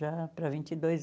Já para vinte e dois